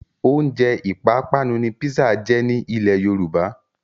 Oúnjẹ ìpápánu ni písà jẹ́ ní ilẹ́ Yorùbá.